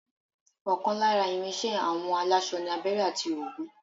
ọ̀kan lára ìrìn iṣẹ àwọn aláṣọ ni abẹrẹ àti òwú